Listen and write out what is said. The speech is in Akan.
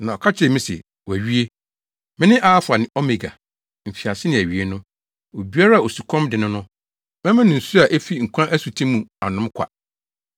Na ɔka kyerɛɛ me se, “Wɔawie! Me ne Alfa ne Omega, Mfiase ne Awiei no. Obiara a osukɔm de no no, mɛma no nsu a efi nkwa asuti mu anom kwa.